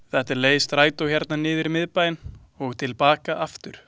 Þetta er leið strætó hérna niður í miðbæinn og til baka aftur.